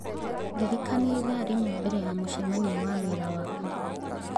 ndirikania ĩthaa rĩmwe mbere ya mũcemanio wa wĩra wakwa